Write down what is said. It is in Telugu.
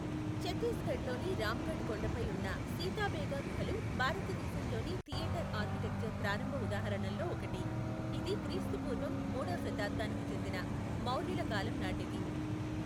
ఛత్తీస్గఢ్లోని రామ్గఢ్ కొండపై ఉన్న సీతాబేగా గుహలు భారతదేశంలోని థియేటర్ ఆర్కిటెక్చర్ ప్రారంభ ఉదాహరణల్లో ఒకటి, ఇది క్రీస్తు పూర్వం మూడవ శతాబ్ధానికి చెందిన మౌర్యుల కాలం నాటిది.